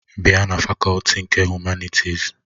Bịa na fakọlti nke Humanịtịs!